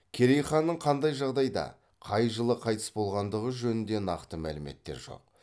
керей ханның қандай жағдайда қай жылы қайтыс болғандығы жөнінде нақты мәліметтер жоқ